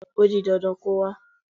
O di dandan kó wá.